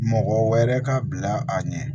Mɔgɔ wɛrɛ ka bila a ɲɛ